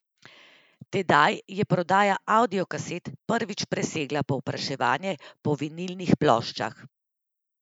Tedaj je prodaja avdiokaset prvič presegla povpraševanje po vinilnih ploščah.